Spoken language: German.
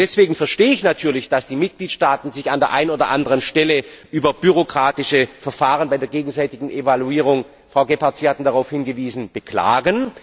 Deswegen verstehe ich natürlich, dass die Mitgliedstaaten sich an der einen oder anderen Stelle über bürokratische Verfahren bei der gegenseitigen Evaluierung Frau Gebhardt, Sie hatten darauf hingewiesen beklagen.